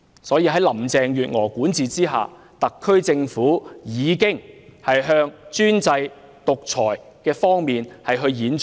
因此，在林鄭月娥的管治下，特區政府已循專制、獨裁的方向演進。